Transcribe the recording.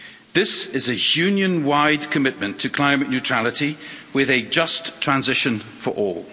This is a Union-wide commitment to climate neutrality with a just transition for all.